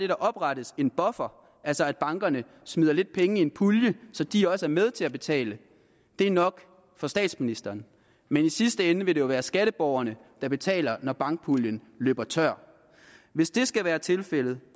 der oprettes en buffer altså at bankerne smider lidt penge i en pulje så de også er med til at betale er nok for statsministeren men i sidste ende vil det jo være skatteborgerne der betaler når bankpuljen løber tør hvis det skal være tilfældet